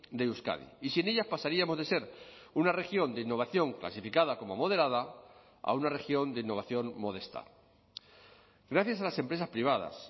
de euskadi y sin ellas pasaríamos de ser una región de innovación clasificada como moderada a una región de innovación modesta gracias a las empresas privadas